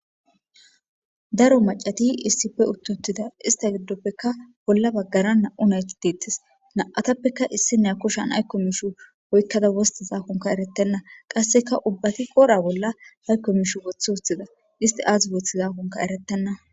daro macati issippe uttutida ista giddoppeka bolla baggara na7u naytitettes na7atappeka issi ne koshan haykko miishu oykkada wosta zaakonka erettenna qasseka ubbati qora bolla haykko miishu wothwothida isti aazibooth zaakonka erettenna.